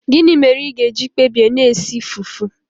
Gịnị mere ị ga-eji kpebie na-esi fufu?